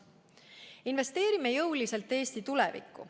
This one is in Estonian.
Investeerime jõuliselt Eesti tulevikku.